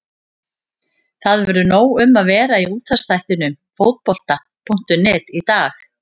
Það verður nóg um að vera í útvarpsþættinum Fótbolta.net í dag.